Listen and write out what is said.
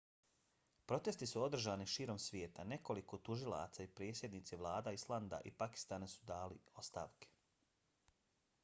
protesti su održani širom svijeta. nekoliko tužilaca i predsjednici vlada islanda i pakistana su dali ostavke